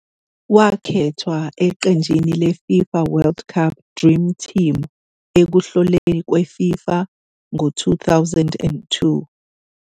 Wakhethwa eqenjini le-FIFA World Cup Dream Team ekuhloleni kwe- FIFA ngo-2002.